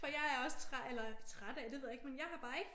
For jeg er også træ eller træt af det ved jeg ikke men jeg har bare ikke